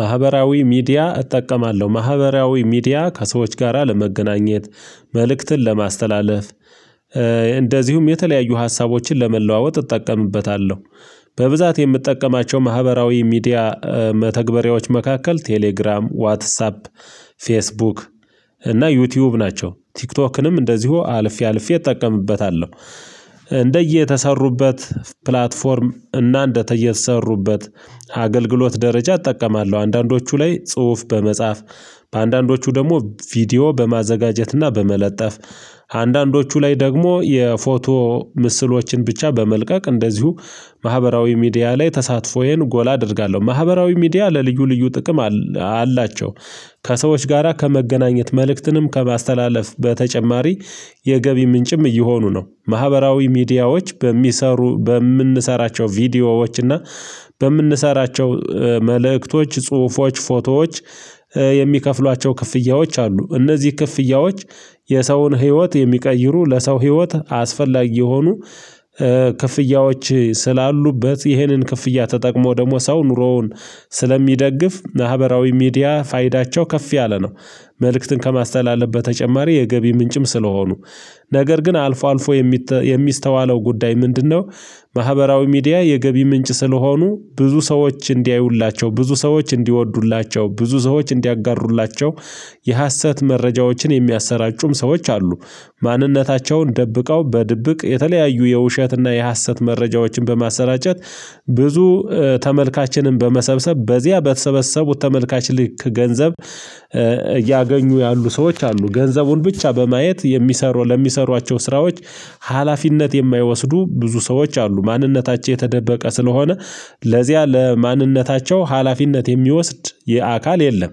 ማህበራዊ ሚዲያ እጠቀማለሁ ማህበራዊ ሚዲያ ከሰዎች ጋራ ለመገናኘት መልእክትን ለማስተላለፍ እንደዚሁም የተለያዩ ሀሳቦችን ለመለዋወጥ እጠቀምበታለሁ። በብዛት የምጠቀማቸው ማህበራዊ ሚዲያ መተግበሪያዎች መካከል ቴሌግራም ዋትሳፕ ፌስቡክ እና ዩቲዩብ ናቸው። ቲክቶክንም እንደዚሁ አልፌ አልፌ እጠቀምበታለሁ። እንደየተሰሩበት ፕላትፎርም እና እንደየተሰሩበት አገልግሎት ደረጃ እጠቀማለሁ። አንዳንዶቹ ላይ ጽሁፍ በመጻፍ አንዳንዶቹ ደግሞ ቪዲዮ በማዘጋጀትና በመለጠፍ አንዳንዶቹ ላይ ደግሞ የፎቶ ምስሎችን ብቻ በመልቀቅ እንደዚሁ ማህበራዊ ሚዲያ ላይ ተሳትፎዬን ጎል አደርጋለሁ። ማህበራዊ ሚዲያ ለልዩ ልዩ ጥቅም አላቸው። ከሰዎች ጋራ ከመገናኘት መልእክትንም ከማስተላለፍ በተጨማሪ የገቢ ምንጭም እየሆኑ ነው። ማህበራዊ ሚዲያዎች በሚሰሩ በምንሰራቸው ቪዲዮዎች እና በምንሰራቸው መልእክቶች ጽሁፎች ፎቶዎች የሚከፍሏቸው ክፍያዎች አሉ። እነዚህ ክፍያዎች የሰውን ህይወት የሚቀይሩ ለሰው ህይወት አስፈላጊ የሆኑ ክፍያዎች ስላሉበት ይሄንን ክፍያ ተጠቅሞ ደግሞ ሰው ኑሮውን ስለሚደግፍ ማህበራዊ ሚዲያ ፋይዳቸው ከፍ ያለ ነው። መልእክትን ከማስተላለፍ በተጨማሪ የገቢ ምንጭም ስለሆኑ ነገር ግን አልፎ አልፎ የሚስተዋለው ጉዳይ ምንድነው? ማህበራዊ ሚዲያ የገቢ ምንጭ ስለሆኑ ብዙ ሰዎች እንዲያዩላቸው ብዙ ሰዎች እንዲወዱላቸው ብዙ ሰዎች እንዲያጋሩላቸው የሀሰት መረጃዎችን የሚያሰራጩም ሰዎች አሉ። ማንነታቸውን ደብቀው በድብቅ የተለያዩ የውሸትና የሀሰት መረጃዎችን በማሰራጨት ብዙ ተመልካችንን በመሰብሰብ በዚያ በተሰበሰቡት ተመልካች ልክ ገንዘብ እያገኙ ያሉ ሰዎች አሉ። ገንዘቡን ብቻ በማየት የሚሰሩ ለሚሰሯቸው ስራዎች ሀላፊነት የማይወስዱ ብዙ ሰዎች አሉ። ማንነታቸው የተደበቀ ስለሆነ ለዚያ ለማንነታቸው ሀላፊነት የሚወስድ የአካል የለም።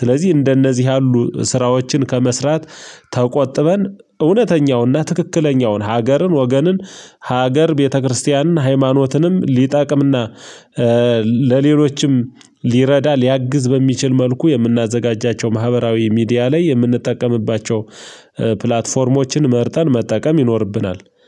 ስለዚህ እንደነዚህ ያሉ ስራዎችን ከመስራት ተቆጥበን እውነተኛውና ትክክለኛውን ሀገርን ወገንን ሀገር ቤተክርስቲያንን ሃይማኖትንም ሊጠቅምና ለሌሎችም ሊረዳ ሊያግዝ በሚችል መልኩ የምናዘጋጃቸው ማህበራዊ ሚዲያ ላይ የምንጠቀምባቸው ፕላትፎርሞችን መርጠን መጠቀም ይኖርብናል